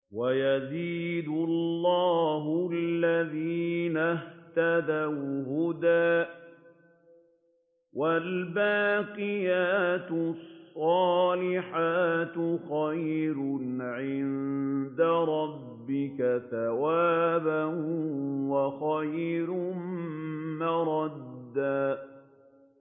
وَيَزِيدُ اللَّهُ الَّذِينَ اهْتَدَوْا هُدًى ۗ وَالْبَاقِيَاتُ الصَّالِحَاتُ خَيْرٌ عِندَ رَبِّكَ ثَوَابًا وَخَيْرٌ مَّرَدًّا